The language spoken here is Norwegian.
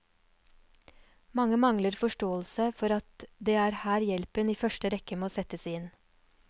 Mange mangler forståelse for at det er her hjelpen i første rekke må settes inn.